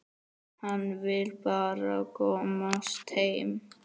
Hann vill bara komast heim.